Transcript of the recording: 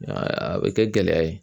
A bɛ kɛ gɛlɛya ye